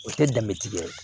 O tɛ danbetigi ye